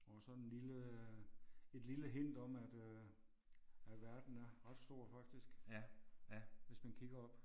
Og sådan lille et lille hint om at øh at verden er ret stor faktisk hvis man kigger op